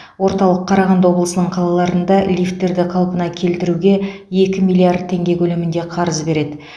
орталық қарағанды облысының қалаларында лифттерді қалпына келтіруге екі миллиард теңге көлемінде қарыз береді